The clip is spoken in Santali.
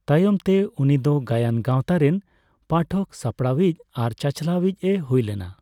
ᱛᱟᱭᱚᱢ ᱛᱮ ᱩᱱᱤᱫᱚ ᱜᱟᱭᱟᱱ ᱜᱟᱣᱛᱟ ᱨᱮᱱ ᱯᱟᱴᱷᱚᱠ, ᱥᱟᱯᱲᱟᱣᱤᱡ ᱟᱨ ᱪᱟᱪᱞᱟᱣᱤᱡᱼᱮ ᱦᱩᱭᱞᱮᱱᱟ ᱾